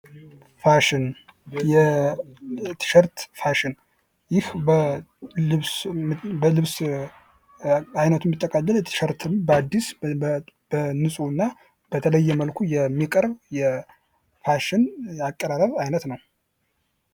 ፋሽን የቲሸርት ፋሽን ይህ በልብስ አይነት የሚጠቀልል ቲሸርትን በአዲስ በንጹህ እና በተለያየ መልኩ የሚቀርቡት የ ፋሽን ያቀራረብ ዓይነት ነው።